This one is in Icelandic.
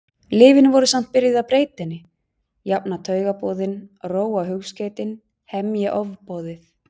Lyfin voru samt byrjuð að breyta henni, jafna taugaboðin, róa hugskeytin, hemja ofboðið.